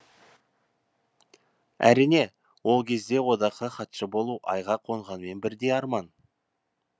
әрине ол кезде одаққа хатшы болу айға қонғанмен бірдей арман